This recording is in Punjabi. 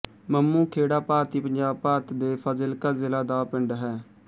ਮੰਮੂ ਖੇੜਾ ਭਾਰਤੀ ਪੰਜਾਬ ਭਾਰਤ ਦੇ ਫ਼ਾਜ਼ਿਲਕਾ ਜ਼ਿਲ੍ਹਾ ਦਾ ਪਿੰਡ ਹੈ